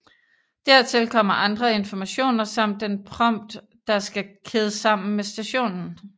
Dertil kommer andre informationer samt den prompt der skal kædes sammen med stationen